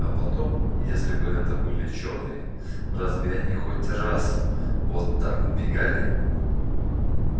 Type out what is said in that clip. а потом если бы это были чёрные разве они хоть раз вот так убегали